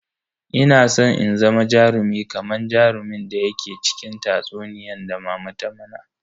Ina san in zama jarumi kaman jarumin da yake cikin tatsuniyan da mama ta mana.